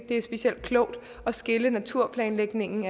det er specielt klogt at skille naturplanlægningen